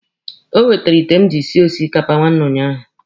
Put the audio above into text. O wetere ite m jiri sie osikapa nwanne ụnyaahụ.